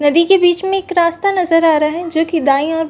नदी के बिच में एक रास्ता नजर आ रहा है जो की दाईं ओर--